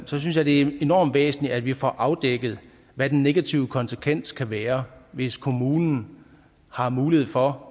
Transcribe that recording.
så synes jeg det er enormt væsentligt at vi får afdækket hvad den negative konsekvens kan være hvis kommunen har mulighed for